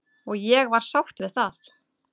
Og ég var sátt við það.